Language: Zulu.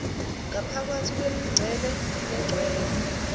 ngaphakathi kwemincele yechweba